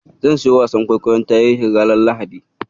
Zan siyo wasan kwaikwayon tarihi ranar Lahadi.